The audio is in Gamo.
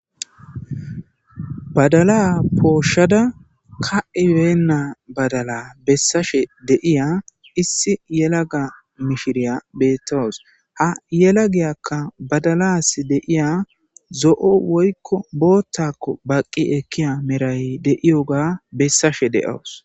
badala pooshshada ka7ibeenna badala bessashe deiya issi yelaga mishiriya beettowos ha yela giyakka badalas deiya zo7o woykko boottakko baqqi ekkiya meray deiyoga bessashe de7awus